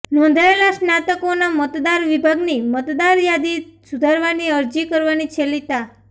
નોંધાયેલા સ્નાતકોના મતદાર વિભાગની મતદાર યાદી સુધારવાની અરજી કરવાની છેલ્લી તા